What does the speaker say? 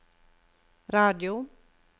radio